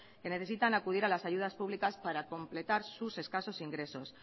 que necesitan acudir a las ayudas públicas para completar sus escasos ingresos